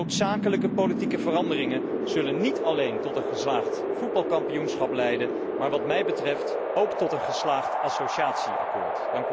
Noodzakelijke politieke veranderingen zullen niet alleen tot een geslaagd voetbalkampioenschap leiden, maar wat mij betreft ook tot een geslaagde associatieovereenkomst.